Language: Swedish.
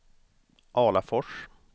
Alafors